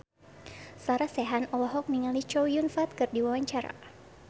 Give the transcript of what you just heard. Sarah Sechan olohok ningali Chow Yun Fat keur diwawancara